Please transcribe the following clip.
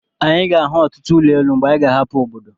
Anyị ga-ahụ ọtụtụ ụlọ elu mgbe anyi ga-ahapụ obodo.